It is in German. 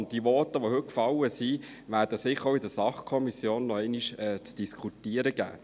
Auch die heute gefallenen Voten werden sicher noch einmal in der Sachbereichskommission zu diskutieren geben.